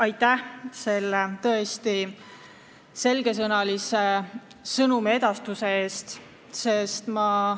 Aitäh selle tõesti selgesõnalise sõnumiedastuse eest!